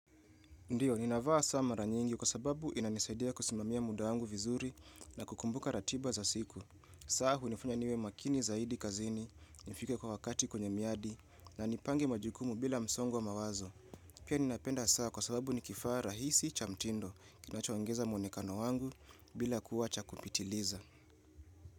Ndiyo, ninavaa saa mara nyingi kwa sababu inanisaidia kusimamia muda wangu vizuri na kukumbuka ratiba za siku. Saa hunifanya niwe makini zaidi kazini, nifike kwa wakati kwenye miadi na nipange majukumu bila msongo wa mawazo. Pia ninapenda saa kwa sababu ni kifaa rahisi cha mtindo kinachoongeza mwonekano wangu bila kuwa cha kupitiliza.